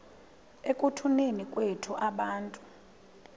ekutuneni kwethu abantu